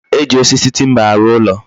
E ji osisi timba arụ ụlo